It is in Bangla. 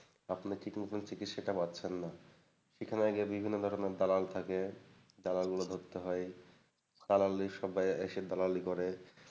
আপনি ঠিক মতো চিকিৎসাটা পাচ্ছেননা। সেখানে আগে বিভিন্ন ধরেনের দালাল থাকে, দালালগুলো ধরতে হয় দালালীর সবাই এসে দালালী করে,